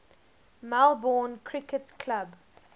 melbourne cricket club